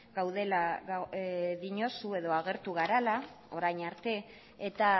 gaudela diozu edo agertu garela orain arte eta